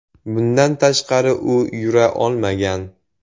Bundan tashqari, u yura olmagan.